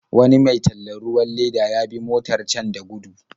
Wani mai tallan ruwan leda ya bi motar can da gudu.